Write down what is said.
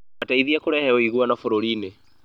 mateithie kũrehe ũiguano bũrũri-inĩ